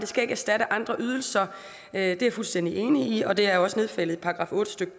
skal erstatte andre ydelser det er jeg fuldstændig enig i og det er også nedfældet i § otte stykke